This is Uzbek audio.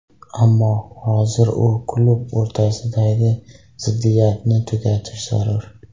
Ammo hozir u va klub o‘rtasidagi ziddiyatni tugatish zarur.